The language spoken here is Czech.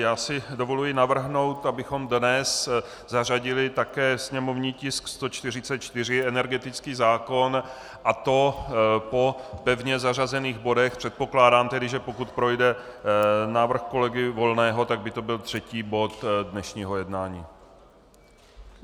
Já si dovoluji navrhnout, abychom dnes zařadili také sněmovní tisk 144, energetický zákon, a to po pevně zařazených bodech, předpokládám tedy, že pokud projde návrh kolegy Volného, tak by to byl třetí bod dnešního jednání.